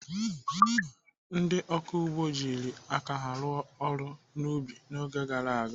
Ndị ọkụ ugbo jiri aka ha rụọ ọrụ n'ubi n'oge gara aga.